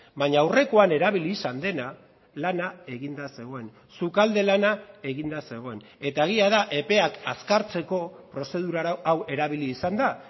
baina aurrekoan erabili izan dena lana eginda zegoen sukalde lana eginda zegoen eta egia da epeak azkartzeko prozedura hau erabili izan da